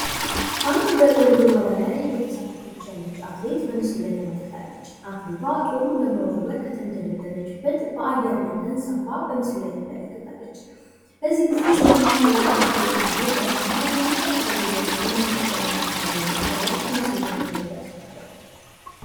አንድ በጦር ውርወራ ላይ እየተሳተፈች ያለች አትሌት በምስሉ ላይ ተመልክታለች። አትሌቷ ጦሩን በመወርወር ከተገደሉበት በአየር ላይ ተንሳፋ በምስሉ ላይ ትመለከታለች.።በዚህ ጊዜ ሰውነቷ ያለበትን ውጥረት እና የመጨረሻ ጉልበቷንን ለመጠቀም የምታደርገውን ጥረት ከምስሉ ላይ መረዳት ይቻላል።